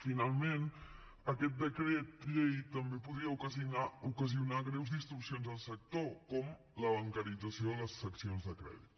finalment aquest decret llei també podria ocasionar greus distorsions al sector com la bancarització de les seccions de crèdit